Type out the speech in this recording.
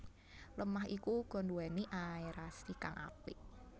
Lemah iku uga nduwéni aerasi kang apik